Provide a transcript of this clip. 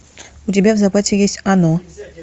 у тебя в запасе есть оно